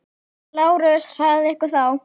LÁRUS: Hraðið ykkur þá!